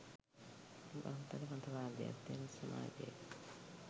බහුතර මතවාදයක් තියෙන සමාජයක